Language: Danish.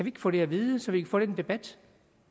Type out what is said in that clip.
ikke få det at vide så vi kan få lidt debat